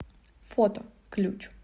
фото ключ